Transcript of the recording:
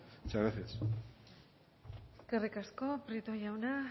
muchas gracias eskerrik asko prieto jauna